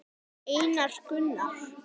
Einar Gunnar.